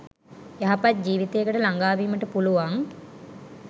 යහපත් ජීවිතයකට ළඟාවීමට පුළුවන්